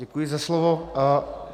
Děkuji za slovo.